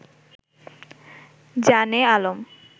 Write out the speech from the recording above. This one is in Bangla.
জানে আলম